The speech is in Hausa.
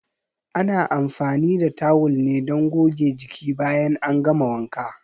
Ana anfani da tawul ne don goge jiki bayan an gama wanka.